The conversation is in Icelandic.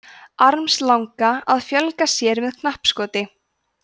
armslanga að fjölga sér með knappskoti